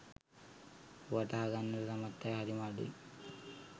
වටහා ගන්නට සමත් අය හරිම අඩුයි.